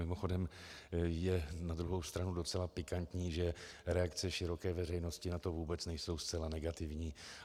Mimochodem, je na druhou stranu docela pikantní, že reakce široké veřejnosti na to vůbec nejsou zcela negativní.